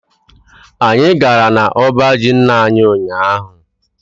Anyị gara n'ọba ji nna anyi ụnyaahụ.